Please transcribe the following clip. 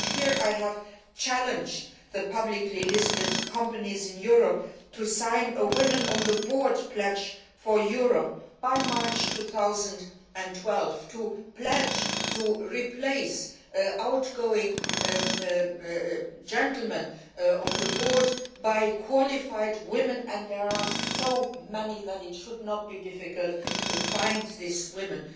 Here, I have challenged publicly listed companies in Europe to sign a Women on the Board Pledge for Europe' by March 2012 to pledge to replace outgoing gentlemen on the board by qualified women and there are so many that it should not be difficult to find these women.